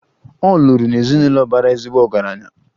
Ọ lụrụ n'ezinụlọ bara ezigbo ọgaranya.